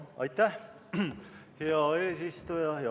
Aitäh, hea eesistuja!